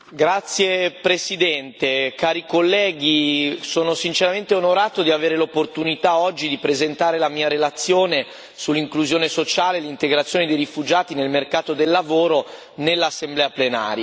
Signor Presidente, onorevoli colleghi, sono sinceramente onorato di avere l'opportunità, oggi, di presentare la mia relazione, sull'inclusione sociale e l'integrazione dei rifugiati nel mercato del lavoro, in Aula.